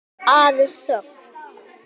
Aðeins þögn.